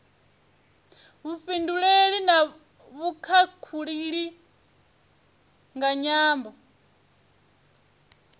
vhufhinduleli na vhukhakhulili nga nyambo